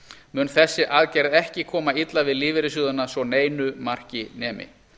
mun þessi aðgerð ekki koma illa við lífeyrissjóðina svo neinu marki nemi